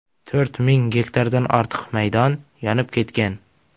To‘rt ming gektardan ortiq maydon yonib ketgan.